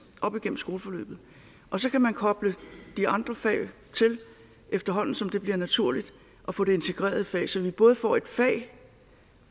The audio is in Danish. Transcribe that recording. op igennem skoleforløbet og så kan man koble de andre fag på efterhånden som det bliver naturligt at få det integreret i faget så vi både får et fag